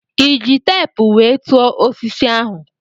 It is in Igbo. Ịji teepu wee tụọ osisi ahụ?